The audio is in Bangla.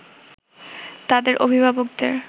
তাদের অভিভাবকদের